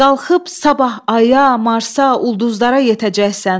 Qalxıb sabah aya, Marsa, ulduzlara yetəcəksən.